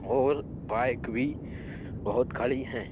और बाइक भी बहुत खड़ी है।